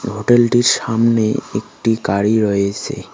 হোটেলটির সামনে একটি গাড়ি রয়েছে।